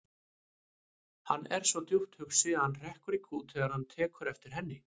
Hann er svo djúpt hugsi að hann hrekkur í kút þegar hann tekur eftir henni.